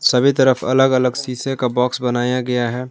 सभी तरफ अलग अलग शीशे का बॉक्स बनाया गया है।